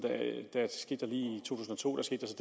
et og i tusind og to skete